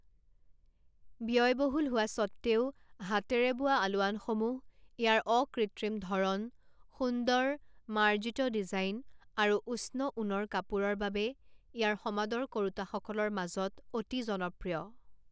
ব্যয়বহুল হোৱা সত্বেও, হাতেৰে বোৱা আলোৱানসমূহ ইয়াৰ অকৃত্ৰিম ধৰণ, সুন্দৰ, মাৰ্জিত ডিজাইন, আৰু উষ্ণ ঊণৰ কাপোৰৰ বাবে ইয়াৰ সমাদৰ কৰোঁতাসকলৰ মাজত অতি জনপ্ৰিয়।